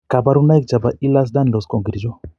Kabarunaik chebo Ehlers Danlos ko achon ?